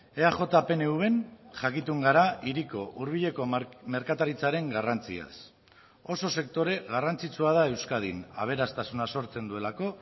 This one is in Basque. eaj pnvn jakitun gara hiriko hurbileko merkataritzaren garrantziaz oso sektore garrantzitsua da euskadin aberastasuna sortzen duelako